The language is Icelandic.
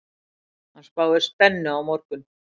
Hann spáir spennu á morgun.